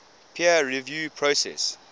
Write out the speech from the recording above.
peer review process